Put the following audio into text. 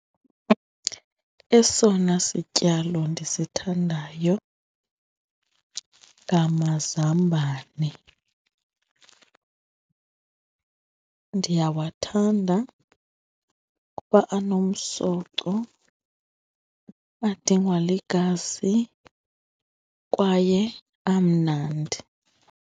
Esona sityalo ndisithandayo ngamazambane, ndiyawathanda kuba anomsoco, adingwa ligazi kwaye amnandi.